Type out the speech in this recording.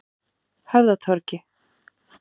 Höfðatorgi